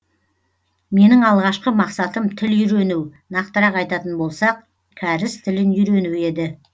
менің алғашқы мақсатым тіл үйрену нақтырақ айтатын болсақ кәріс тілін үйрену еді